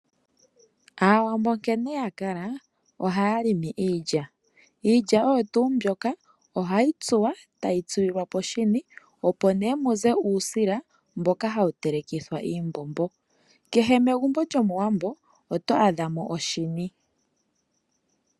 Aawambo nkene ya kala ohaya limi iilya. Iilya oyo tuu mbyoka ohayi tsuwa, tayi tsilwa poshini opo nduno muze uusila mboka hawu telekithwa iimbombo. Kehe megumbo lyOmuwambo oto adha mo oshini.